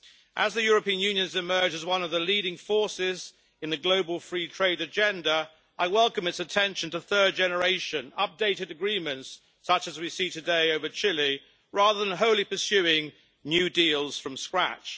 As the European Union has emerged as one of the leading forces in the global free trade agenda, I welcome its attention to third generation updated agreements such as we see today with Chile, rather than wholly pursuing new deals from scratch.